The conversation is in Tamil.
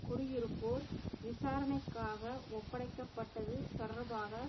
குடியிருப்போர் விசாரணைக்காக ஒப்படைக்க பட்டது தொடர்பாக